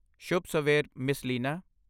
ਸ਼ੁਭ ਸਵੇਰ, ਮਿਸ ਲੀਨਾ!